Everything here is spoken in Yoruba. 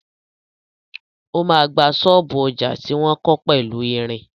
O ma gba ṣọ́ọ̀bú ọjà tí wọ́n kọ́ pẹ̀lú ìrìn.